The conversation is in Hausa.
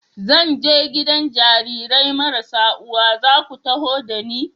Zan je gidan Jarirai marasa uwa, za ku taho da ni?